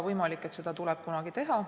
Ei saa välistada, et seda tuleb kunagi teha.